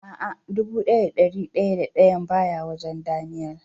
A'a, dubu daya da dari daya da dayan baya wajen "Daniel".